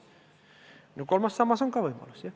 Jah, kolmas sammas on ka üks võimalus.